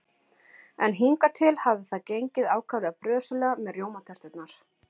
En hingað til hafði það gengið ákaflega brösulega með rjómaterturnar.